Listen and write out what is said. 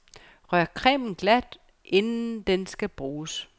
Rør cremen glat inden den skal bruges.